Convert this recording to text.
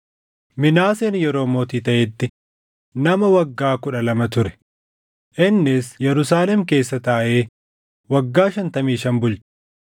Minaaseen yeroo mootii taʼetti nama waggaa kudha lama ture; innis Yerusaalem keessa taaʼee waggaa shantamii shan bulche.